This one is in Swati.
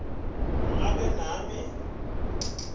kutsi ingabe nami